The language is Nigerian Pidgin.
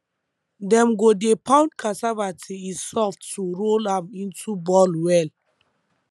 dem go dey pound cassava till e soft to roll am into ball well